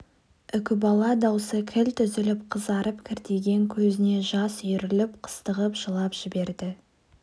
үкібала даусы кілт үзіліп қызарып кіртиген көзіне жас үйіріліп қыстығып жылап жіберді